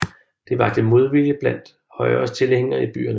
Det vakte modvilje blandt Højres tilhængere i byerne